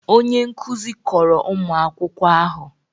Onye nkuzi kọrọ ụmụ akwụkwọ ahụ